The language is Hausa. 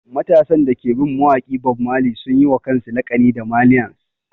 Matasan da suke bin mawaƙi Bob Marley sun yi wa kansu laƙani da ''Marlians''